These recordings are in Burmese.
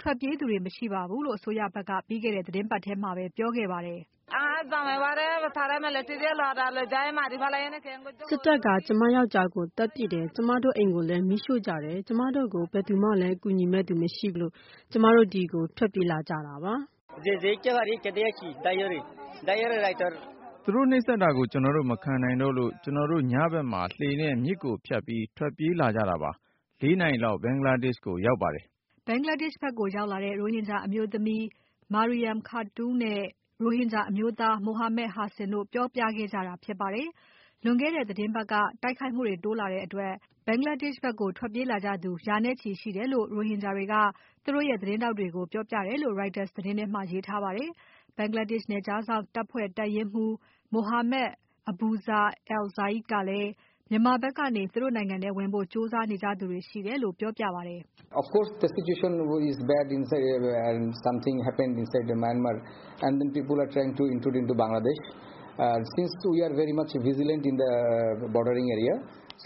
ထွက်ပြေးသူတွေမရှိပါဘူးလို့ အစိုးရဖက်က ပြီးခဲ့တဲ့ သီတင်းပါတ်ထဲမှာပဲ ပြောကြားခဲ့ပါတယ်။ “ စစ်တပ်က ကျွန်မယောင်္ကျားကို သတ်ပစ်တယ်။ ကျွန်မတို့အိမ်ကိုလည်း မီးရှို့ကြတယ်။ ကျွန်မတို့ကို ဘယ်သူမှလည်း ကူညီမယ့်သူမရှိလို့ ကျွန်မတို့ဒီကို ထွက်ပြေးလာကြတာပါ။” “သူတို့နှိပ်စက်တာကို ကျွန်တော်တို့ မခံနိုင်တော့လို့ ကျွန်တော်တို့ ညဖက်မှာ လှေနဲ့ မြစ်ကိုဖြတ်မပြီး ထွက်ပြေးလာကြတာပါ။ ၄ နာရီလောက် ဘင်္ဂလားဒေရှ့်ကိုရောက်ပါတယ်။” ဘင်္ဂလားဒေရှ့်ဖက်ကိုရောက်လာတဲ့ ရိုဟင်ဂျာအမျိုးသမီး Marium Khatoon နဲ့ ရိုဟင်ဂျာအမျိုးသား မိုဟာမက် Hasim တို့ပြောခဲ့ကြတာဖြစ်ပါတယ်။ လွန်ခဲ့တဲ့ သီတင်းတပါတ်က တိုက်ခိုက်မှုတွေတိုးလာတဲ့အတွက် ဘင်္ဂလားဒေရှ့်ဖက်ကို ထွက်ပြေးကြသူ ရာနဲ့ချီရှိတယ်လို့ ရိုဟင်ဂျာတွေက သူတို့ရဲ့ သတင်းထောက်တွေကို ပြောကြတယ်လို့ Reuters သတင်းထဲမှာရေးထားပါတယ်။ ဘင်္ဂလားဒေရှ့်နယ်ခြားစောင့်တပ်ဖွ့ဲ တပ်ရင်းမှူး Mohammad Abuzar Al Zahid ကလည်း မြန်မာဖက်ကနေ သူတို့နိုင်ငံထဲဝင်ဖို့ကြိုးစားနေကြသူတွေရှိတယ်လို့ ပြောပါတယ်။ “အခ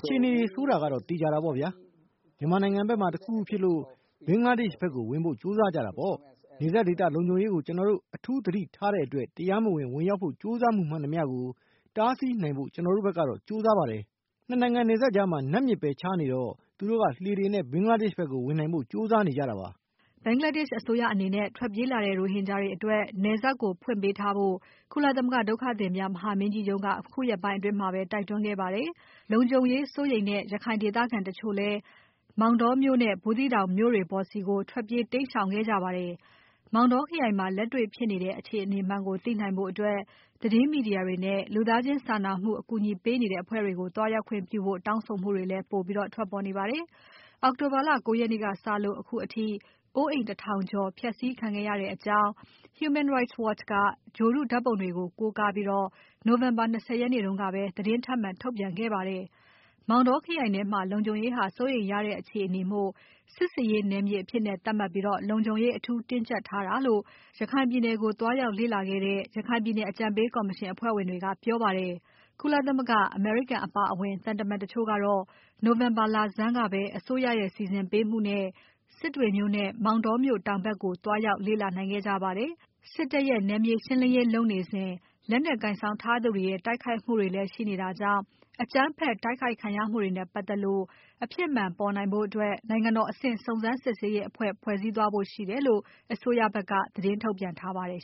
ြေအနေဆိုးတာ သေချာတာပေါ့ဗျာ။ မြန်မာနိုင်ငံဖက်မှာ တခုခုဖြစ်လို့ ဘင်္ဂလားဒေရှ့်ဖက်ကို ဝင်ဖို့ကြိုးစားကြတာပေါ့။ နယ်စပ်ဒေသလုံခြုံရေးကို ကျွန်တော်တို့ အထူးသတိထားတဲ့အတွက် တရားမဝင် ဝင်ရောက်ဖို့ကြိုးစားမှုမှန်သမျှကို တားဆီးနိုင်ဖို့ ကျွန်တော်တို့ဖက်ကတော့ ကြိုးစားပါတယ်။ ၂ နိုင်ငံနယ်စပ်ကြားမှာ နတ်မြစ်ပဲခြားနေတော့ သူတို့က လှေတွေနဲ့ ဘင်္ဂလားဒေရှ့်ဖက်ကို ဝင်နိုင်ဖို့ ကြိုးစားနေကြတာပါ။” ဘင်္ဂလားဒေရှ့်အစိုးရအနေနဲ့ ထွက်ပြေးလာတဲ့ ရိုဟင်ဂျာတွေအတွက် နယ်စပ်ကို ဖွင့်ပေးထားဖို့ ကုလသမဂ္ဂဒုက္ခသည်များမဟာမင်းကြီးရုံးက အခုရက်ပိုင်းအတွင်းမှာပဲ တိုက်တွန်းခဲ့ပါတယ်။ လုံခြုံရေးစိုးရိမ်တဲ့ ရခိုင်ဒေသခံတချို့လည်း မောင်တောမြို့နဲ့ ဘူးသီးတောင်မြို့ပေါ်တွေဆီ ထွက်ပြေးတိမ်းရှောင်ခဲ့ကြပါတယ်။ မောင်တောခရိုင်မှာ လက်တွေ့ဖြစ်နေတဲ့ အခြေအနေမှန်ကိုသိနိုင်ဖို့ သတင်းမီဒီယာတွေနဲ့ လူသားချင်းစာနာမှု အကူအညီပေးနေတဲ့ အဖွဲ့တွေကို သွားရောက်ခွင့်ပြုဖို့ တောင်းဆိုမှုတွေလည်း ပိုပြီးထွက်ပေါ်နေပါတယ်။ အောက်တိုဘာလ ၉ ရက်နေ့ကစလို့ အခုအထိ အိုးအိမ် တထောင်ကျော် ဖျက်ဆီးခံခဲ့ရတဲ့အကြောင်း HRW က ဂြိုဟ်တုဓာတ်ပုံတွေကို ကိုးကားပြီး November လ ၂၀ ရက်နေ့က သတင်းထပ်မံ ထုတ်ပြန်ခဲ့ပါတယ်။ မောင်တောခရိုင်ထဲမှာ လုံခြုံရေးဟာ စိုးရိမ်စရာရတဲ့ အခြေအနေမို့ စစ်ဆင်ရေးနယ်မြေအဖြစ်သတ်မှတ်ပြီး လုံခြုံရေး အထူးတင်းကြပ်ထားတယ်လို့ ရခိုင်ပြည်နယ်ကို သွားရောက်လေ့လာခဲ့တဲ့ ရခိုင်ပြည်နယ်အကြံပေးကော်မရှင် အဖွဲ့ဝင်တွေကပြောပါတယ်။ ကုလသမဂ္ဂ၊ အမေရိကန်အပါအဝင် သံတမန်တချို့ကတော့ နိုဝင်ဘာလဆန်းက အစိုးရရဲ့စီစဉ်ပေးမှုနဲ့ စစ်တွေနဲ့ မောင်တောင်မြို့တောင်ဖက်ကို သွားရောက်လေ့လာ နိုင်ခဲ့ကြပါတယ်။ စစ်တပ်ရဲ့နယ်မြေရှင်းလင်းရေးလုပ်နေစဉ် လက်နက်ကိုင်ဆောင်ထားသူတွေရဲ့ တိုက်ခိုက်မှုတွေလည်းရှိနေတာကြောင့် အကြမ်းဖက်တိုက်ခိုက်ခံရမှုတွေနဲ့ပါတ်သက်လို့ အဖြစ်မှန်ပေါ်နိုင်ဖို့ နိုင်ငံတော်အဆင့် စုံစမ်းစစ်ဆေးရေးအဖဲ့ွ ဖွဲ့စည်းသွားဖို့ရှိတယ်လို့ အစိုးရကဖက်က သတင်းထုတ်ပြန်ထားပါတယ်